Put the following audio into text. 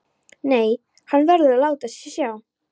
Nei, hann verður að láta sjá sig.